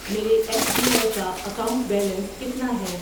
میرے S B I کا account balance کتنا ہے؟